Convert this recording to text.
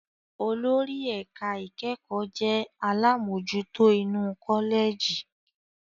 Olórí ẹ̀ka ìkẹ́kọ̀ọ́ jẹ́ àlámojutó inú kọ́lẹ̀jì.